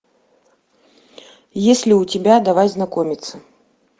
есть ли у тебя давай знакомиться